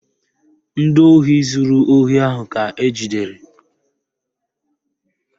Ndị ohi zuru ohi ahụ ka ejidere